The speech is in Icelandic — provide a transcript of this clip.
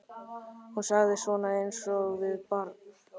Hún sagði: Svona, eins og við barn.